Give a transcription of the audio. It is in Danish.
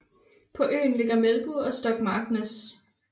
På øen ligger byerne Melbu og Stokmarknes